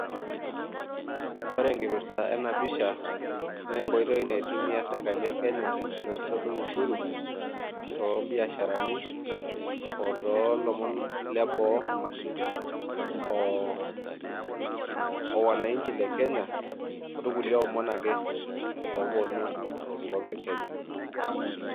Ore enkipirta ena pisha naa enkoitoi naitumia serkali e Kenya peesotu ushuru too mbiasharani otoolomon leboo o wananchi le Kenya olkulie omon ake oowuonu enkop e Kenya.